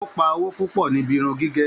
O pa owó púpọ̀ níbí irun gígé.